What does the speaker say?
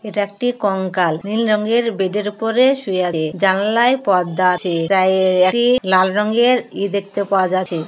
এটা একটি কঙ্কাল নীল রঙের বেদের উপরে শুয়ে রে--জানালায় পর্দা আছে তাই একটি লাল রংয়ের ই দেখতে পাওয়া যাচ্ছে।